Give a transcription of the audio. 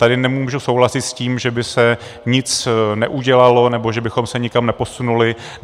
Tady nemůžu souhlasit s tím, že by se nic neudělalo nebo že bychom se nikam neposunuli.